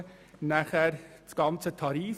Ein weiterer Punkt ist der Bereich der Tarife.